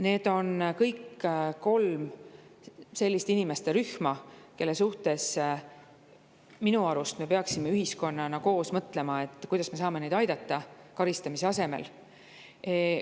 Need on kolm inimeste rühma, kelle suhtes me minu arust peaksime ühiskonnana koos mõtlema, kuidas me saaksime neid karistamise asemel aidata.